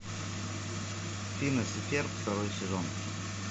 финес и ферб второй сезон